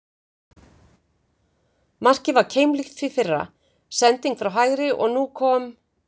Markið var keimlíkt því fyrra, sending frá hægri og nú kom???